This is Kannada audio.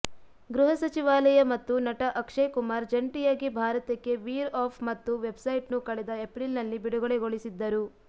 ಗೃಹಸಚಿವಾಲಯ ಮತ್ತು ನಟ ಅಕ್ಷಯ್ ಕುಮಾರ್ ಜಂಟಿಯಾಗಿ ಭಾರತ್ಕೆವೀರ್ ಆಪ್ ಮತ್ತು ವೆಬ್ಸೈಟ್ನ್ನು ಕಳೆದ ಎಪ್ರಿಲ್ನಲ್ಲಿ ಬಿಡುಗಡೆಗೊಳಿಸಿದ್ದರು